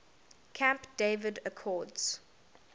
camp david accords